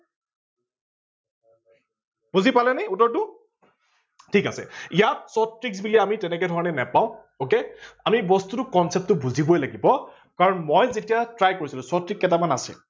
বুজি পালে নে উত্তৰটো ঠিক আছে ইয়াত shorts trick বুলি আমি তেনেকে ধৰনে নাপাও ok আমি বস্তুটো concept টো বুজিবই লাগিব কাৰন মই যেতিয়া try কৰিছিলো short trick কেতামান আছে